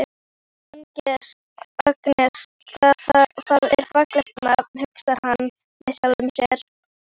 Agnes, það er fallegt nafn, hugsar hann með sjálfum sér.